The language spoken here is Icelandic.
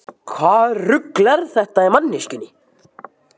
Hvaða rugl er þetta í manneskjunni?